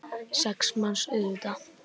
Sex manns, auðvitað.